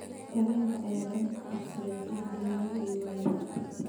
Tareenka ayaa dab qabsaday, qaar badana waa ay waayeen.